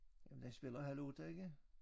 Jamen den spiller halv 8 ikke?